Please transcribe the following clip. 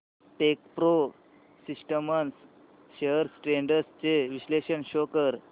Techpro Systems shares trends चे विश्लेषण show कर